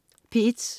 P1: